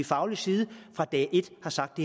faglig side fra dag et har sagt